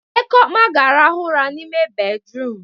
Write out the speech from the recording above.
Ekeoma ga-arahụ ụra n'ime bédrụum.